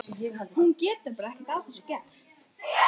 Hún getur bara ekki að þessu gert.